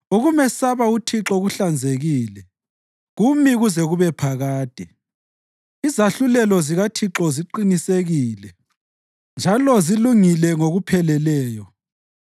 Ukumesaba uThixo kuhlanzekile, kumi kuze kube phakade. Izahlulelo zikaThixo ziqinisekile njalo zilungile ngokupheleleyo.